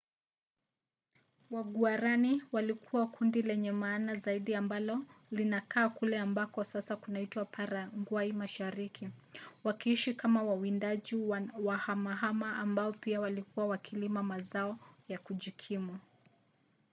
waguaraní walikuwa kundi lenye maana zaidi ambalo linakaa kule ambako sasa kunaitwa paragwai mashariki wakiishi kama wawindaji wahamahama ambao pia walikuwa wakilima mazao ya kujikimu